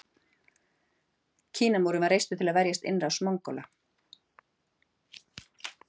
Kínamúrinn var reistur til að verjast innrás Mongóla.